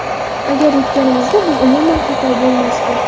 Agarda yutganimizda bu umuman xato bo‘lmasdi.